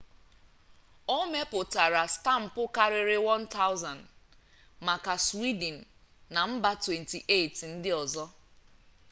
o mepụtaara stampụ karịrị 1,000 maka swidin na mba 28 ndị ọzọ